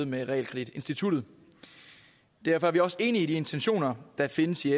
med realkreditinstituttet derfor er vi også enige i de intentioner der findes i